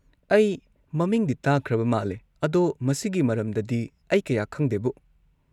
ꯑꯩ ꯃꯃꯤꯡꯗꯤ ꯇꯥꯈ꯭ꯔꯕ ꯃꯥꯜꯂꯦ, ꯑꯗꯣ ꯃꯁꯤꯒꯤ ꯃꯔꯝꯗꯗꯤ ꯑꯩ ꯀꯌꯥ ꯈꯪꯗꯦꯕꯨ꯫